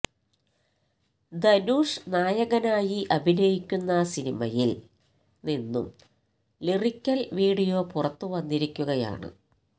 ധനുഷ് നായകനായി അഭിനയിക്കുന്ന സിനിമയില് നിന്നും ലിറിക്കല് വീഡിയോ പുറത്ത് വന്നിരിക്കുകയാണ്